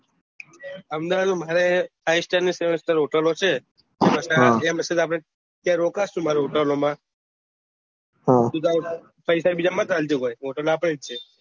અમદાવાદ માં મારે five star અને સેવેન સ્ટાર હોટેલો છે અત્યારે ત્યાં રોકશો મારા હોટેલો માં બીજા બધા પેસા બધા ના આપજો હોટેલ આપડો જ છે